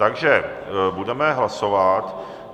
Takže budeme hlasovat.